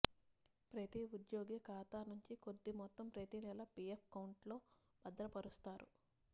ప్రతీ ఉద్యోగి ఖాతా నుంచి కొద్ది మొత్తం ప్రతీ నెల పీఎఫ్ ఎకౌంట్లో భద్రపరుస్తారు